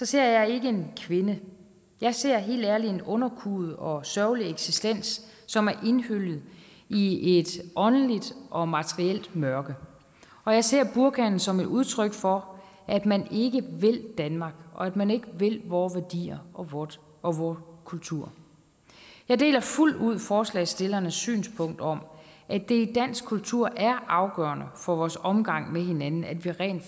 ser jeg ikke en kvinde jeg ser helt ærligt en underkuet og sørgelig eksistens som er indhyllet i et åndeligt og materielt mørke og jeg ser burkaen som et udtryk for at man ikke vil danmark og at man ikke vil vore værdier og vor og vor kultur jeg deler fuldt ud forslagsstillernes synspunkt om at det i dansk kultur er afgørende for vores omgang med hinanden at vi rent